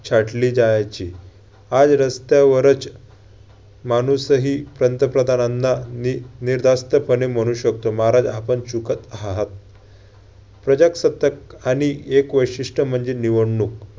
छाटली जायची. आज रस्त्यावरच माणूसही पंतप्रधानांना नि~ निर्धास्तपणे म्हणू शकतो महाराज आपण चूकत आहात. प्रजासत्ताक आणि एक वैशिष्ट्य म्हणजे निवडणूक